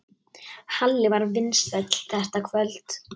Halli var vinsæll þetta kvöld.